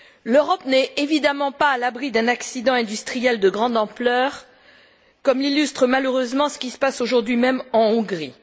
L'Europe n'est évidemment pas à l'abri d'un accident industriel de grande ampleur, comme l'illustre malheureusement ce qui se passe aujourd'hui même en Hongrie.